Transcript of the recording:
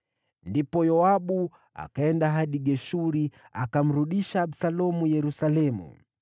Ndipo Yoabu akaenda hadi Geshuri akamrudisha Absalomu Yerusalemu.